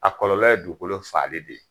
A kɔlɔlɔ ye dugukolo faali de ye.